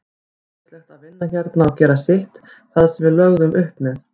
Æðislegt að vinna hérna og gera sitt, það sem við lögðum upp með.